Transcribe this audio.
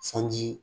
Sanji